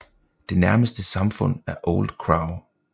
Det nærmeste samfund er Old Crow